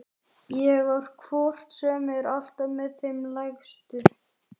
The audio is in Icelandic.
Ég er hvort sem er alltaf með þeim lægstu.